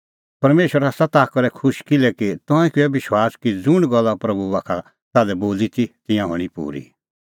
परमेशर आसा ताह करै खुश किल्हैकि तंऐं किअ विश्वास कि ज़ुंण गल्ला प्रभू बाखा का ताल्है बोली ती तिंयां हणीं पूरी